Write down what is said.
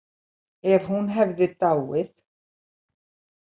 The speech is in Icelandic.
Ef hún hefði dáið.